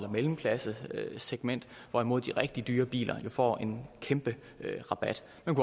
mellemklassesegment hvorimod de rigtig dyre biler jo får en kæmpe rabat man